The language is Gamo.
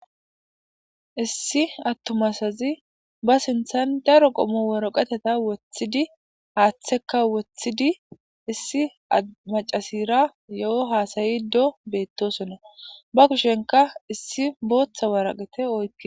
Issi attomasazi ba sinthan daro qomo weroqeteta wothidi haaththeka wothidi issi macasira yo7o haasayi do beettosonna ba kushenka issi booththa waraqete oyki